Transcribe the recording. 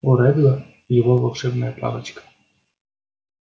у реддла его волшебная палочка